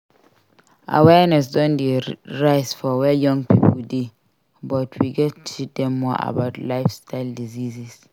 Awareness don dey rise for where young pipo dey but we gats teach dem more about lifestyle diseases.